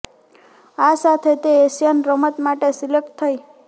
આ સાથે તે એશિયન રમત માટે સિલેક્ટ થઈ